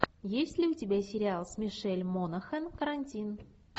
есть ли у тебя сериал с мишель монахэн карантин